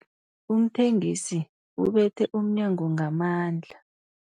Umthengisi ubethe umnyango ngamandla.